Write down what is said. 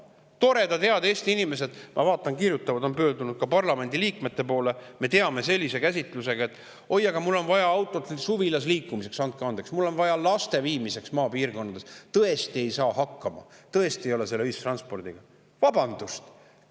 Toredad head Eesti inimesed, ma vaatan, kirjutavad ja on pöördunud ka parlamendi liikmete poole sellise käsitlusega: oi, aga mul on vaja autot suvilasse liikumiseks; andke andeks, mul on vaja seda maapiirkonnas laste, tõesti ei saa ilma hakkama, tõesti ei ole see ühistranspordiga.